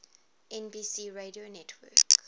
nbc radio network